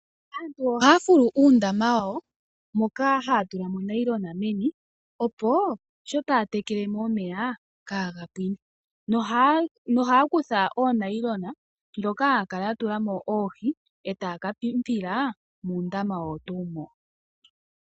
Aantu ohaya fulu uundama wawo moka haya tula mo onayilona meni, opo sho taya tekele mo omeya ka ga pwine nohaya kutha oonayilona ndhoka haya kala ya tula mo oohi etaya ka pimpila muundama owo tuu mbo.